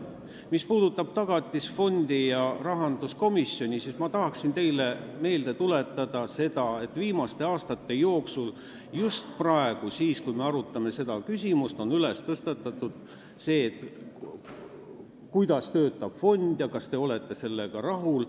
Mis puudutab Tagatisfondi ja rahanduskomisjoni, siis ma tahan teile meelde tuletada, et just praegu, kui me oleme seda küsimust arutanud, on tõstatatud see teema, kuidas see fond töötab ja kas sellega ollakse rahul.